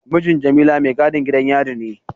Mijin Jamila maigadin gidan yari ne.